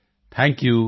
thank you